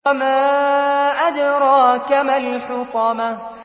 وَمَا أَدْرَاكَ مَا الْحُطَمَةُ